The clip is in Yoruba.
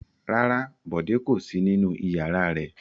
Rárá, Bọ̀dé kò sí nínú ìyàrá rẹ̀.